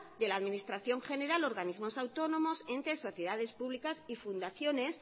de la administración general organismos autónomos entes sociedades públicas y fundaciones